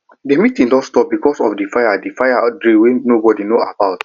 the meeeting don stop because of the fire the fire drill wey nobody know about